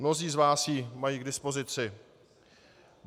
Mnozí z vás ji mají k dispozici.